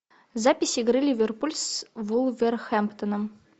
запись игры ливерпуль с вулверхэмптоном